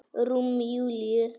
Rúm Júlíu.